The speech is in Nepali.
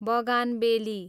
बगानबेली